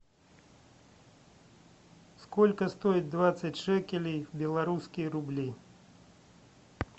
сколько стоит двадцать шекелей в белорусские рубли